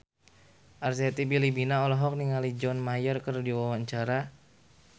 Arzetti Bilbina olohok ningali John Mayer keur diwawancara